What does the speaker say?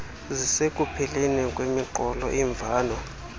zisekupheleni kwemiqolo imvano